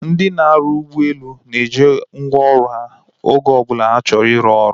Ndị na-arụ ụgbọelu na-eji ngwa ọrụ ha oge ọbụla ha chọrọ iru ọrụ